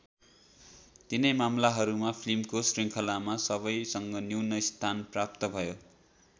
तिनै मामलाहरूमा फिल्मको श्रृङ्खलामा सबैसँग न्यून स्थान प्राप्त भयो।